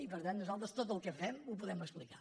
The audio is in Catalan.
i per tant nosaltres tot el que fem ho podem explicar